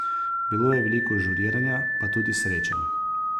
Bilo je veliko žuriranja, pa tudi srečanj ...